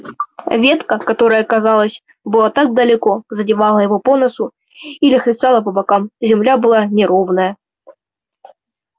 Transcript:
ветка которая казалось была так далеко задевала его по носу или хлестала по бокам земля была неровная